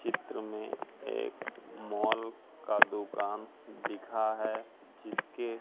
चित्र में एक मॉल का दुकान दिखा है जिसके--